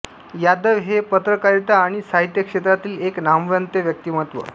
यादव हे पत्रकारिता अणि साहित्य क्षेत्रातील एक नामवंत व्यक्तीमत्व